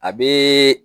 A be